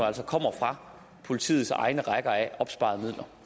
altså kommer fra politiets egne rækker af opsparede